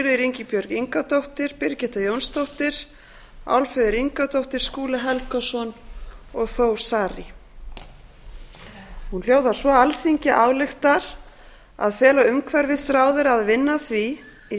sigríður ingibjörg ingadóttir birgitta jónsdóttir álfheiður ingadóttir skúli helgason og þór saari hún hljóðar svo alþingi ályktar að fela umhverfisráðherra að vinna að því í